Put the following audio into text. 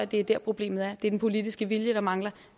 det er dér problemet er det er den politiske vilje der mangler